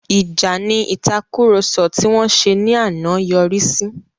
Ìjà ni ìtàkurọ̀sọ tí wọ́n ṣe ní àná yọrí sí.